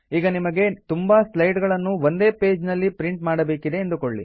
ಈಗ ನಿಮಗೆ ತುಂಬಾ ಸ್ಲೈಡ್ ಗಳನ್ನು ಒಂದೇ ಪೇಜ್ ನಲ್ಲಿ ಪ್ರಿಂಟ್ ಮಾಡಬೇಕಿದೆ ಎಂದುಕೊಳ್ಳಿ